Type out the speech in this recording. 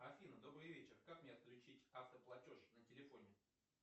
афина добрый вечер как мне отключить автоплатеж на телефоне